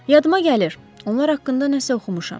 Yadıma gəlir, onlar haqqında nəsə oxumuşam.